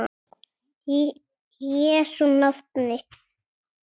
Í Jesú nafni.